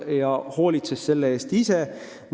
Iga riik hoolitses selle eest ise.